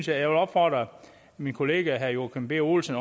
jeg vil opfordre min kollega herre joachim b olsen